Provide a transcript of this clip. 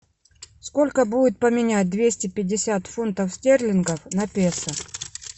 сколько будет поменять двести пятьдесят фунтов стерлингов на песо